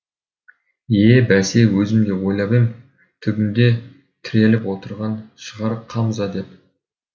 е бәсе өзім де ойлап ем түбінде тіреліп отырған шығар қамза деп